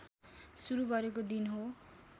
सुरू गरेको दिन हो